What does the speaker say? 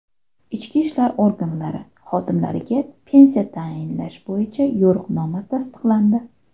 Ichki ishlar organlari xodimlariga pensiya tayinlash bo‘yicha yo‘riqnoma tasdiqlandi.